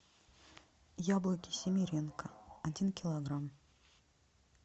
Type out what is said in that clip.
яблоки симеренко один килограмм